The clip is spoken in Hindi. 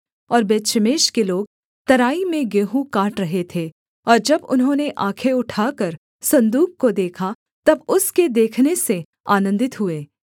और बेतशेमेश के लोग तराई में गेहूँ काट रहे थे और जब उन्होंने आँखें उठाकर सन्दूक को देखा तब उसके देखने से आनन्दित हुए